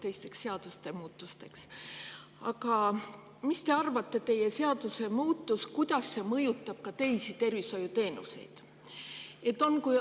Mis te arvate, kuidas teie seadusemuudatus mõjutab teisi tervishoiuteenuseid?